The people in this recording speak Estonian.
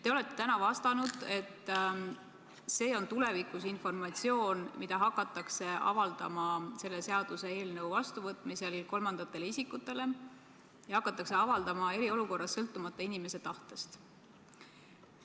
Te olete täna vastanud, et seda informatsiooni hakatakse selle seaduseelnõu vastuvõtmisel tulevikus avaldama kolmandatele isikutele ja hakatakse avaldama eriolukorras sõltumata inimese tahtest.